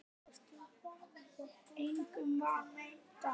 Veistu hvað ég held.